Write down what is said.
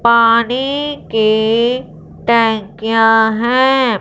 पानी के टंकियाँ हैं।